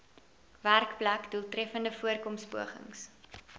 werkplek doeltreffende voorkomingspogings